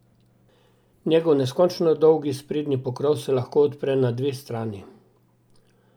Njegov neskončno dolgi sprednji pokrov se lahko odpre na dve strani.